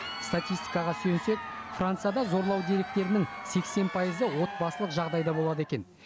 статистикаға сүйенсек францияда зорлау деректерінің сексен пайызы отбасылық жағдайда болады екен